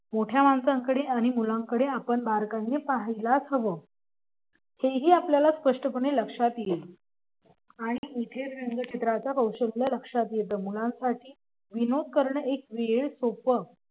मोठ्या माणसांकडे आणि मुलांकडे आपण बारकाईने पाहायलाच हवं हेही आपल्याला स्पष्टपणे लक्षात येईल आणि इथे रंगचित्राचं कौशल्य लक्षात येतं. मुलांसाठी विनोद करणे एक वेळ सोपं